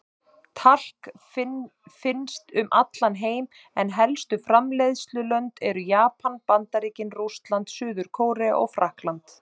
Talk finnst um allan heim en helstu framleiðslulönd eru Japan, Bandaríkin, Rússland, Suður-Kórea og Frakkland.